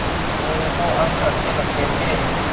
मोरू को अंक अच्छे लगते थे